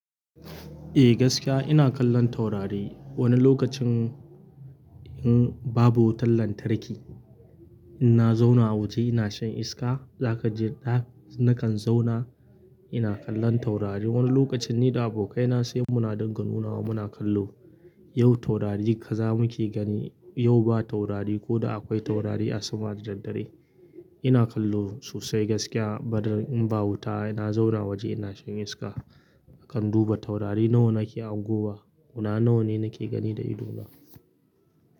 Eh gaskiya ina kallon taurari. Wani lokacin in babu wutan lantarki ina zauna waje ina shan iska, za ka je da nakan zauna ina kallon taurari. Wani lokacin ni da abokaina sai muna dinga nunawa muna kallo. Yau taurari kaza muke gani, yau ba taurari ko da akwai taurari a sama daddadare. Ina kallo sosai gaskiya. Bada in ba wuta ina zauna waje ina shan iska. A kan duba taurari nawa nake hangowa, guda nawa ne nake gani da ido na.